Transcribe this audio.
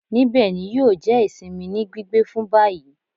Nibẹ ni yio jẹ isinmi ni gbigbe fun bayi